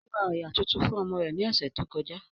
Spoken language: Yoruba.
Ó ra òyà tuntun fún ọmọ rẹ̀ ní ọ̀sẹ̀ tó kọjá